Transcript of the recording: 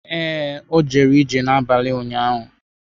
Ee, o jere ije n’abalị ụnyahụ.